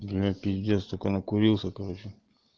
для меня пиздец такой накурился короче